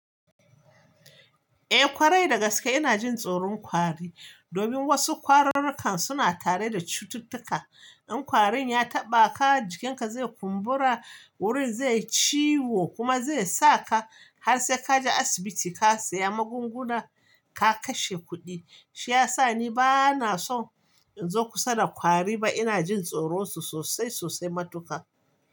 Eh ƙwarai da gaske ina jin tsoron kwari, domin wasu ƙwararrukan suna tare da cututtuka. In kwarin ya taɓa ka jikinka zai kumbura, wurin zai yi ciwo kuma zai saka har sai kaje asibiti ka saya magunguna ka kashe kuɗi. Shi ya sa ni bana so in zo kusa da kwari ba ina jin tsoron su sosai sosai matuƙa.